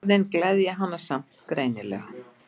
Orðin gleðja hana samt greinilega.